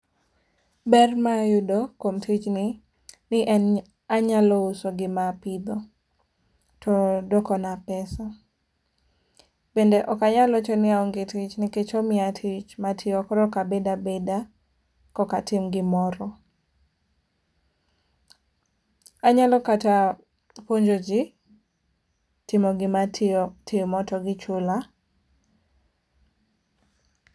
Ber ma ayudo kuom tijni ni en anyalo uso gima apidho to dwokona pesa. Bende ok anyal wacho ni aonge tich nikech omiya tich matiyo koro ok abed abeda kok atim gimoro. Anyalo kata puonjo ji timo gima atimo to gichula.